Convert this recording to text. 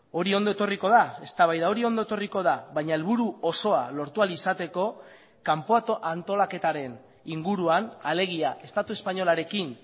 hori ondo etorriko da eztabaida hori ondo etorriko da baina helburu osoa lortu ahal izateko kanpo antolaketaren inguruan alegia estatu espainolarekin